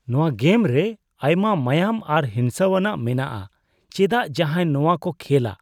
ᱱᱚᱶᱟ ᱜᱮᱢᱨᱮ ᱟᱭᱢᱟ ᱢᱟᱸᱭᱟᱸᱝ ᱟᱨ ᱦᱤᱸᱥᱟᱹᱣᱟᱱᱟᱜ ᱢᱮᱱᱟᱜᱼᱟ ᱾ ᱪᱮᱫᱟᱜ ᱡᱟᱦᱟᱭ ᱱᱚᱣᱟᱠᱚ ᱠᱷᱮᱞᱼᱟ ?